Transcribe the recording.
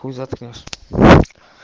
пусть завтрак нёс